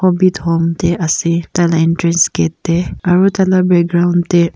hobbit home ti ase tai laka entrance gate ti aru tai laka background ti.